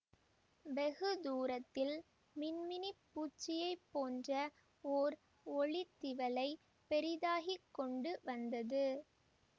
வெகு தூரத்தில் மின் மினிப் பூச்சியை போன்ற ஓர் ஒளித் திவலை பெரிதாகி கொண்டு வந்தது